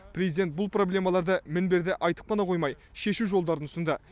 президент бұл проблемаларды мінберде айтып қана қоймай шешу жолдарын ұсынды